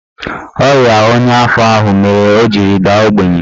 Ọrịa ọnya afọ ahụ mere o jiri daa ogbenye